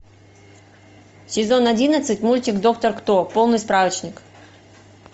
сезон одиннадцать мультик доктор кто полный справочник